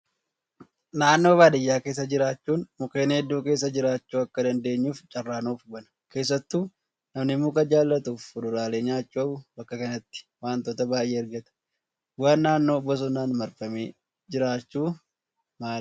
Naannoo baadiyyaa keessa jiraachuun mukkeen hedduu keessa jiraachuu akka dandeenyuuf carraa nuuf bana. Keessattuu namni muka jaallatuu fi fuduraalee nyaachuu hawwu bakka kanatti wantoota baay'ee argata. Bu'aan naannoo bosonaan marfame jiraachuu maali?